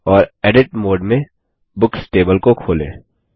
और edit mode में books table को खोलें